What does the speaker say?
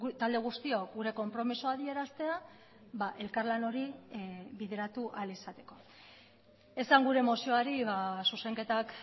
talde guztiok gure konpromisoa adieraztea elkarlan hori bideratu ahal izateko esan gure mozioari zuzenketak